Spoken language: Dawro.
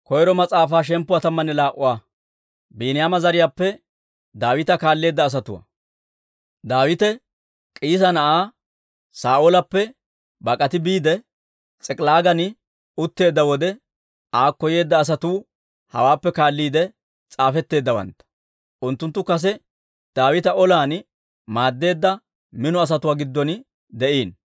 Daawite K'iisa na'aa Saa'oolappe bak'ati biide, S'ik'ilaagan utteedda wode, aakko yeedda asatuu hawaappe kaalliide s'aafetteeddawantta. Unttunttu kase Daawita olan maaddeedda mino asatuwaa giddon de'iino.